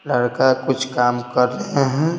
लड़का कुछ काम कर रहे हैं।